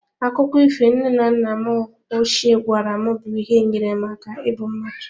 Akụkọ ifo nne na nna m ochie gwara m bụ ihe nyere m aka ibu mmadụ.